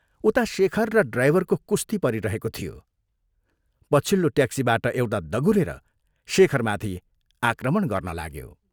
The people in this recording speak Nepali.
उता शेखर र ड्राइभरको कुश्ती परिरहेको थियो, पछिल्लो ट्याक्सीबाट एउटा दगुरेर शेखरमाथि आक्रमण गर्न लाग्यो।